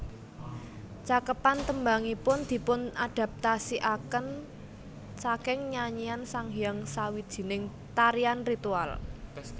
Cakepan tembangipun dipunadaptasikaken saking nyanyian Sanghyang sawijining tarian ritual